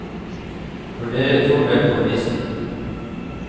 For dere tror vel på nissen?